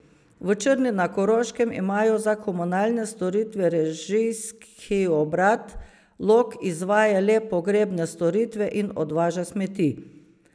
V Črni na Koroškem imajo za komunalne storitve režijski obrat, Log izvaja le pogrebne storitve in odvaža smeti.